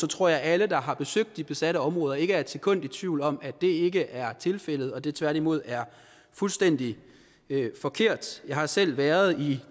tror jeg at alle der har besøgt de besatte områder ikke er et sekund i tvivl om at det ikke er tilfældet og at det tværtimod er fuldstændig forkert jeg har selv været i